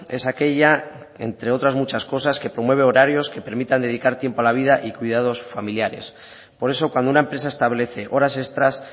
es aquella entre otras muchas cosas que promueve horarios que permitan dedicar tiempo a la vida y cuidados familiares por eso cuando una empresa establece horas extras